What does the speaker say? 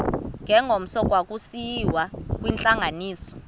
ngengomso kwakusiyiwa kwintlanganiso